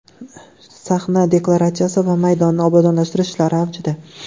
Sahna dekoratsiyasi va maydonni obodonlashtirish ishlari avjida.